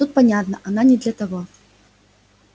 тут понятно она не для того